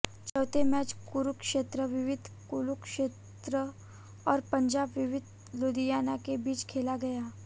चौथे मैच कुरुक्षेत्र विवि कुरुक्षेत्र और पंजाब विवि लुधियाना के बीच खेला गया